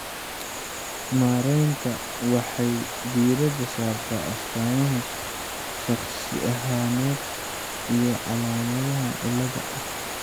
Maareynta waxay diiradda saartaa astaamaha shakhsi ahaaneed iyo calaamadaha xaaladda.